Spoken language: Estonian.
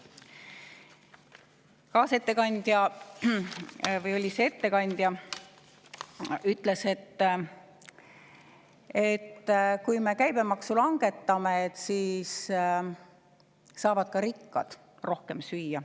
Kaasettekandja, või oli see ettekandja, ütles, et kui me käibemaksu langetame, siis saavad ka rikkad rohkem süüa.